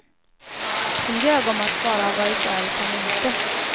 Hon ljög om att bara ha varit där ett par minuter.